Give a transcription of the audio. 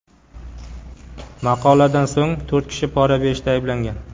Maqoladan so‘ng, to‘rt kishi pora berishda ayblangan .